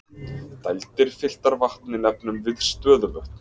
Dældir fylltar vatni nefnum við stöðuvötn.